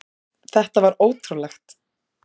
Þetta var ótrúlegt.